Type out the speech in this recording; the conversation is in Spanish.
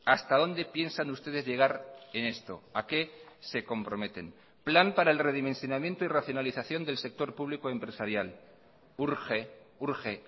hasta dónde piensan ustedes llegar en esto a qué se comprometen plan para el redimensionamiento y racionalización del sector público empresarial urge urge